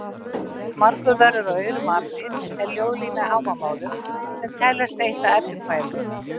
Margur verður af aurum api er ljóðlína í Hávamálum sem teljast eitt af Eddukvæðum.